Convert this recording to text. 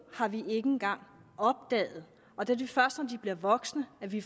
har vi ikke engang opdaget og det er først når de bliver voksne at vi